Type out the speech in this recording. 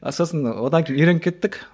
сосын одан кейін үйреніп кеттік